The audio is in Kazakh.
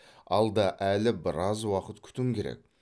алда әлі біраз уақыт күтім керек